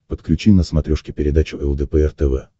подключи на смотрешке передачу лдпр тв